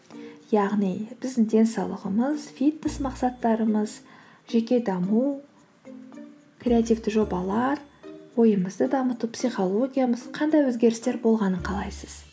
яғни біздің денсаулығымыз фитнес мақсаттарымыз жеке даму креативті жобалар ойымызды дамыту психологиямыз қандай өзгерістер болғанын қалайсыз